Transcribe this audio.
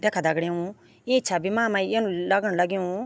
देखा दगड़ियों इं छवि मा मै इन लगण लग्यूँ --